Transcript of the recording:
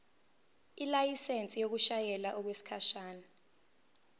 ilayisensi yokushayela okwesikhashana